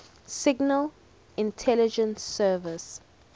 signal intelligence service